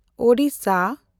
Odisha